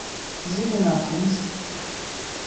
зеленокумск